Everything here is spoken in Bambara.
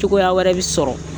Cogoya wɛrɛ bi sɔrɔ,